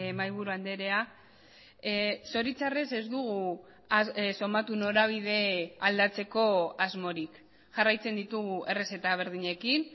mahai buru andrea zoritxarrez ez dugu somatu norabide aldatzeko asmorik jarraitzen ditugu errezeta berdinekin